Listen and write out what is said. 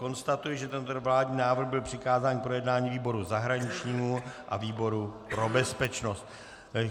Konstatuji, že tento vládní návrh byl přikázán k projednání výboru zahraničnímu a výboru pro bezpečnost.